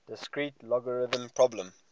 discrete logarithm problem